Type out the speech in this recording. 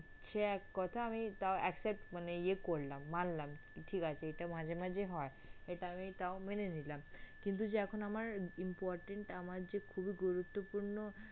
সে এক কথা আমি তাও accept মানে ইয়ে করলাম মানলাম যে ঠিক আছে এটা মাঝে মাঝে হয় এটা আমি তাও মেনে নিলাম কিন্তু যে এখন আমার important আমার যে খুবই গুরুত্বপূর্ণ।